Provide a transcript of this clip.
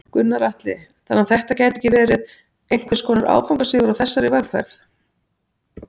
Gunnar Atli: Þannig að þetta gæti ekki verið einhvers konar áfangasigur á þessari vegferð?